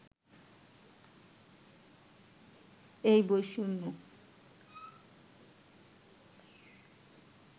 এই বৈষম্য